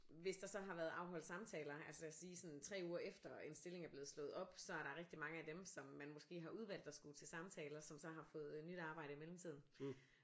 Hvis der så har været afholdt samtaler altså lad os sige sådan 3 uger efter en stilling er blevet slået op så er der rigtig mange af dem som man måske har udvalgt der skulle til samtaler som så har fået nyt arbejde i mellemtiden